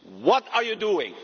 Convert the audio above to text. What are you doing?